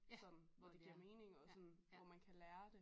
Sådan hvor det giver mening og sådan hvor man kan lære det